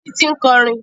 Títí ń kọrin